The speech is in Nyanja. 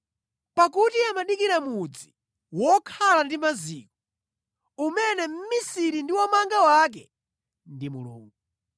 Pakuti amadikira mudzi wokhala ndi maziko, umene mmisiri ndi womanga wake ndi Mulungu.